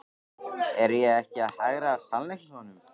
Er ég ekki að hagræða sannleikanum?